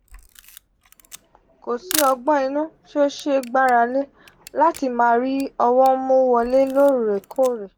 ko si ogbon inu ti o se gbarale lati ma ri owo mu wole loorekoore.